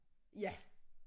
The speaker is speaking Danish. Ja